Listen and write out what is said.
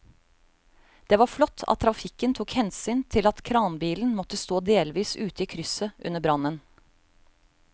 Det var flott at trafikken tok hensyn til at kranbilen måtte stå delvis ute i krysset under brannen.